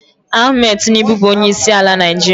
Ahmed Tinubu bụ onyeisi ala Nigeria